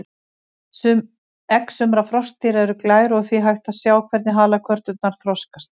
Egg sumra froskdýra eru glær og því hægt að sjá hvernig halakörturnar þroskast.